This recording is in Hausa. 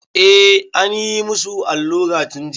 Eh, anyi musu allura tun jiya.